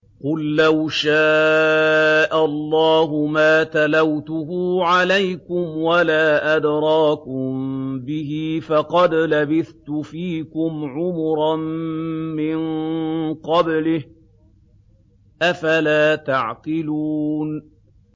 قُل لَّوْ شَاءَ اللَّهُ مَا تَلَوْتُهُ عَلَيْكُمْ وَلَا أَدْرَاكُم بِهِ ۖ فَقَدْ لَبِثْتُ فِيكُمْ عُمُرًا مِّن قَبْلِهِ ۚ أَفَلَا تَعْقِلُونَ